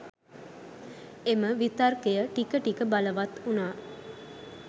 එම විතර්කය ටික ටික බලවත් වුනා.